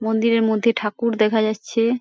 মন্দিরের মধ্যে ঠাকুর দেখা যাচ্ছে ।